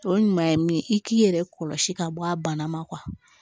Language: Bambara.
O ɲuman ye min ye i k'i yɛrɛ kɔlɔsi ka bɔ a bana ma